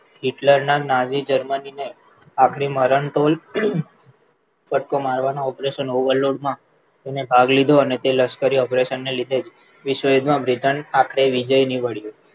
Hitler ના નવી Germany ને આપણી મરણતોલ ફટકો મારવાનો operation overload માં તેને ભાગ લીધો અને તે લશ્કરી operation ને લીધે જ વિશ્વયુદ્ધમાં britain આખરે વિજય નિવડ્યુ